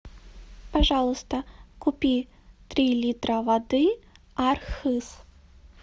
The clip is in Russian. пожалуйста купи три литра воды архыз